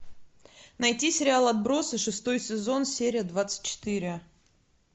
найти сериал отбросы шестой сезон серия двадцать четыре